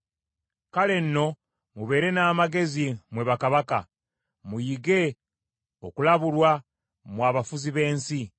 Kale nno mubeere n’amagezi mmwe bakabaka; muyige okulabulwa mmwe abafuzi b’ensi.